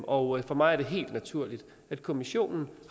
og for mig er det helt naturligt at kommissionen